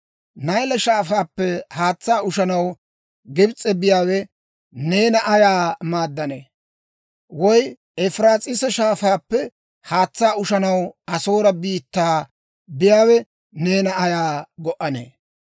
Nayle Shaafaappe haatsaa ushanaw Gibs'e biyaawe neena ayaa maaddanee? Woy Efiraas'iisa Shaafaappe haatsaa ushanaw Asoore biittaa biyaawe neena ayaa go"anee?